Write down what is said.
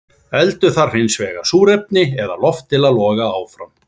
Eldur þarf hins vegar súrefni eða loft til að loga áfram.